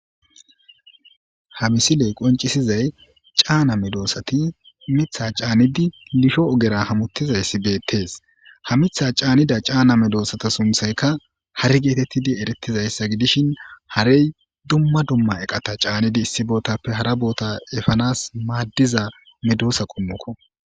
Ha misiley qoncisizay cana medosati mitha canidi lisho ogera hamutizays betes ha mitha cnida mexosata sunthayka hare getei eretizaysa gidishin harey dumma dumma eqata canidi issi botape hara bota efanas madiza medosa qommoko